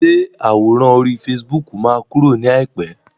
Ṣé àwòrán orí fasibóòkù máa kúrò ní àìpé?